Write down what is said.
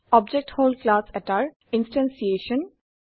object হল class এটাৰ instantiation